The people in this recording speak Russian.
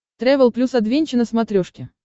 трэвел плюс адвенча на смотрешке